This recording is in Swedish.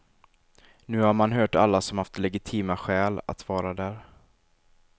Nu har man hört alla som haft legitima skäl att vara där.